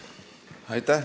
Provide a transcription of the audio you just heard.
Aitäh!